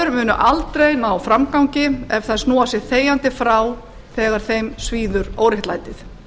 konur munu aldrei ná framgangi ef þær snúa sér þegjandi frá þegar þeim svíður óréttlætið